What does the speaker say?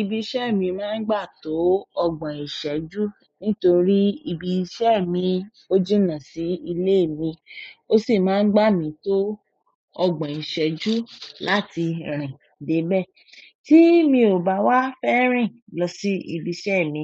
Ibi iṣẹ́ mi maa n gba to ogbon iseju, nítorí ibi iṣẹ́ mi o jinna si ile mi ó sì máa ń gbà mí tó ogbon ìṣẹ́jú láti rìn dé be. Tí mi ò bá wá fẹ́ rìn lọ sí ibi iṣẹ́ mi,